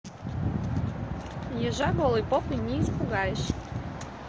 ежа голой попой не испугаешь